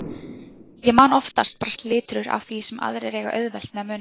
Ég man oftast bara slitrur af því sem aðrir eiga auðvelt með að muna.